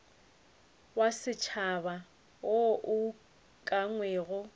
wa setšhaba wo o ukangwego